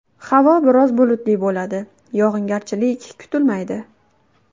Havo biroz bulutli bo‘ladi, yog‘ingarchilik kutilmaydi.